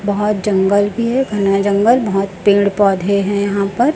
बहोत जंगल भी है घना जंगल बहोत पेड़ पौधे है यहां पर।